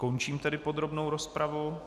Končím tedy podrobnou rozpravu.